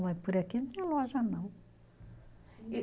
Mas por aqui não tinha loja, não. E